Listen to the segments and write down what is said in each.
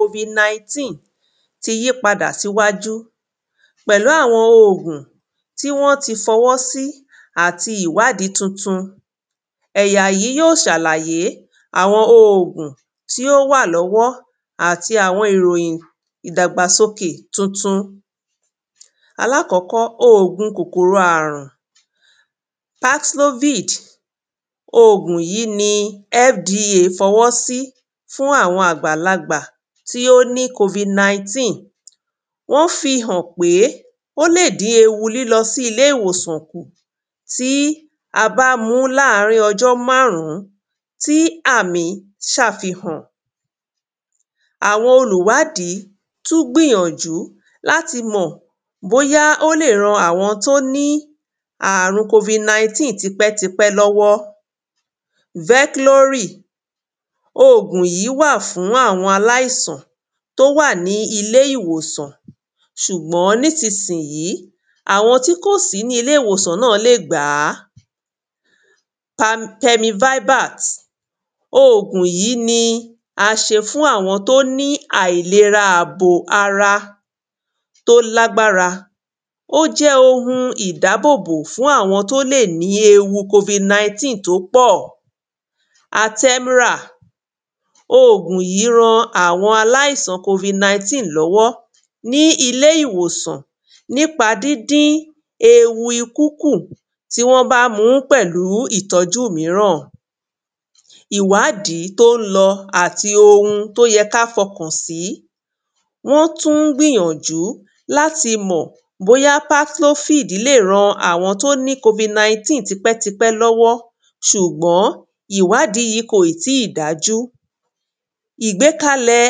Covid 19 ti yípadà síwájú pẹ̀lu àwọn òògùn tí wọ́n ti fọwọ́ sí àti ìwádìí tuntun ẹ̀yà yìí yóò ṣe àlàyé àwọn òog̀ún tí ó wà lọ́wọ́ àti àwọn ìròyìn ìdàgbàsókè tuntun àkọ́kọ́ -òògùn kòkòrò àrun patlofid, òògùn yìí ni FDA fọwọ́ sí fún àwọn àgbàlagbà tí ó ní covid-19 ó fihàn pé ó lè dín ewù lílọ sí ilé ìwòsàn kù tí a bá múu láàrín ọjọ́ máàrún tí àmì ṣàfihàn àwọn olùwádìí tún gbìyànjú láti mọ̀ bóyá ó lè ran àwọn tí ó ní àrùn covid-19 tipẹ́tipẹ́ lọ́wọ́ veclory òògùn yìí wà fún àwọn aláìsàn tó wà ní ilé ìwòsan ṣùgbọ́n nísisìyí àwọn tí kò sí nilẹ ìwòsàn náà lé gbà á pemivivat, òògùn yìí ni a ṣe fún àwọn tó ní àìlera ààbò ara tó lágbára tó lágbára, ó jẹ́ ohun ìdáàbò bò fún àwọn tó lè ní ewu covid-19 tó pọ̀ Athemra, òògùn yìí ran àwọn aláìsàn tó pọ̀ lọ́wọ́ ní ilé ìwòsàn nípa díndín ewu ikú kù tí wọ́n bá mu ú pẹ̀lú ìtọ́jú míràn ìwádìí tún ń lọ àti ohun tó yẹ kí a fọkàn sí wọ́n tún gbìyànjú láti mọ̀ bóyá cathlovid lè ran àwọn tó ti ní covid tipẹ́tipẹ́ lọ́wọ́ ṣùgbọ́n ìwádìí yìí kò dájú ìgbékalẹ̀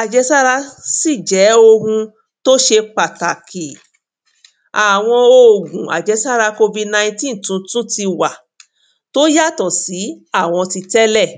àjẹsára sì jẹ́ ohun tó ṣe pàtàkì, àwọn òògùn covid-19 tún ti wà tó yàtọ̀ sí àwọn ti tẹ́lẹ̀